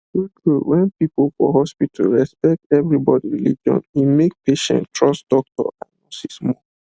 true true when people for hospital respect everybody religion e make patients trust doctors and nurses more